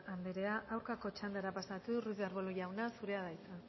andrea aurkako txandara pasatuz arbulo jauna zurea da hitza